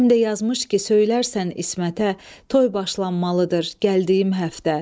Həm də yazmış ki, söylərsən İsmətə, toy başlanmalıdır gəldiyim həftə.